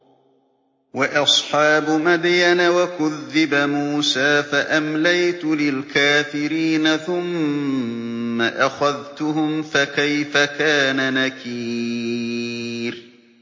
وَأَصْحَابُ مَدْيَنَ ۖ وَكُذِّبَ مُوسَىٰ فَأَمْلَيْتُ لِلْكَافِرِينَ ثُمَّ أَخَذْتُهُمْ ۖ فَكَيْفَ كَانَ نَكِيرِ